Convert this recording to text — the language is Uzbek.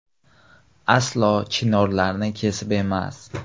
Aslo chinorlarni kesib emas.